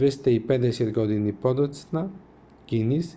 250 години подоцна гинис